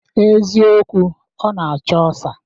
Eziokwu, ọ na-acho ọsa